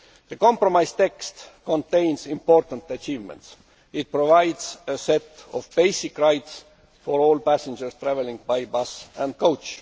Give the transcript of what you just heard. The compromise text contains important achievements it provides a set of basic rights for all passengers travelling by bus and coach.